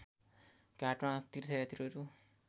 घाटमा तीर्थयात्रीहरू